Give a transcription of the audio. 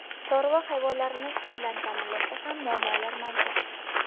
Chorva hayvonlarini suv bilan ta’minlashda ham muammolar mavjud.